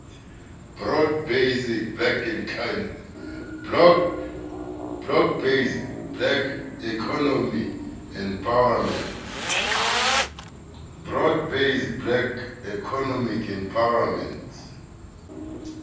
broad based black economic empowerment